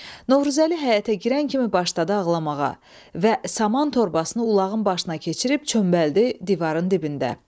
Novruzəli həyətə girən kimi başladı ağlamağa və saman torbasını ulağın başına keçirib çömbaldı divarın dibində.